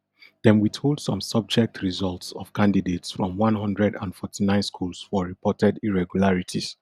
dem withhold some subject results of candidates from one hundred and forty-nine schools for reported irregularities